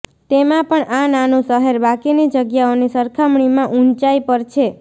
તેમાં પણ આ નાનું શહેર બાકીની જગ્યાઓની સરખામણીમાં ઉંચાઈ પર છે